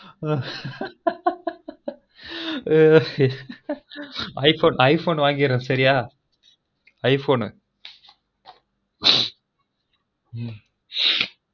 i phone வாங்கிருவொம் சரியா